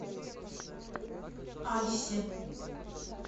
айсе